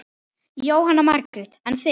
Jóhanna Margrét: En þið?